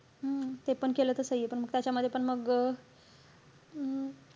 हम्म ते पण केलं तर सहीये. पण त्याचा मध्ये पण मग अं